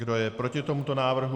Kdo je proti tomuto návrhu?